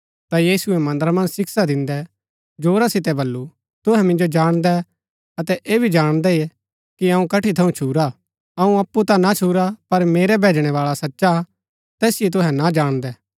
ता यीशुऐ मन्दरा मन्ज शिक्षा दिन्दै जोरा सितै बल्लू तुहै मिन्जो जाणदै अतै ऐह भी जाणदै कि अऊँ कठी थऊँ छुरा अऊँ अप्पु ता ना छुरा पर मेरा भैजणैबाळा सचा हा तैसिओ तुहै ना जाणदै